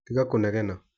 Tiga kũnegena